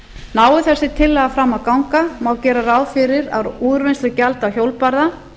nái þessi tillaga fram að ganga má gera ráð fyrir að úrvinnslugjald á hjólbarða